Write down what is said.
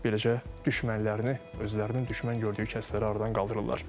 Beləcə düşmənlərini, özlərinin düşmən gördüyü kəsləri aradan qaldırırlar.